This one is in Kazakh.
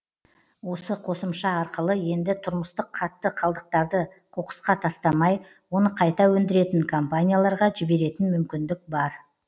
осы қосымша арқылы енді тұрмыстық қатты қалдықтарды қоқысқа тастамай оны қайта өндіретін компанияларға жіберетін мүмкіндік бар